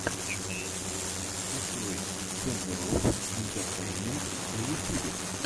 открой шендерофф интэртэйнмэнт на ютюбе